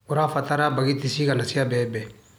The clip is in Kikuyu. ũrabatara mbagiti cigana cia mbembe.